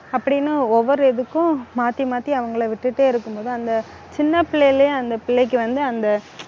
அப்படின்னு ஒவ்வொரு இதுக்கும் மாத்தி, மாத்தி அவங்களை விட்டுட்டே இருக்கும்போது அந்த சின்ன பிள்ளையிலேயே அந்த பிள்ளைக்கு வந்து, அந்த